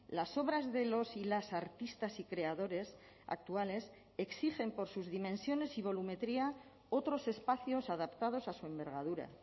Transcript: las obras de los y las artistas y creadores actuales exigen por sus dimensiones y volumetría otros espacios adaptados a su envergadura